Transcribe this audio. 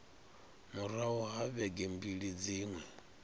murahu ha vhege mbili dziṅwe